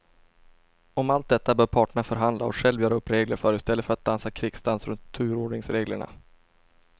Om allt detta bör parterna förhandla och själva göra upp regler för i stället för att dansa krigsdans runt turordningsreglerna.